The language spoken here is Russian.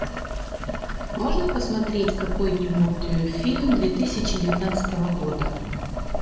можно посмотреть какой нибудь фильм две тысячи девятнадцатого года